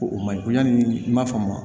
Ko o ma ɲi ko yanni i ma faamu